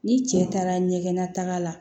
Ni cɛ taara ɲɛgɛn nata la